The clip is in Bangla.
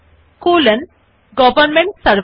Enter কী টিপুন এবং লিখুন মথার্স নামে কলন শ্বেতা